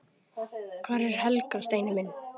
Hvar er Helga, Steini minn?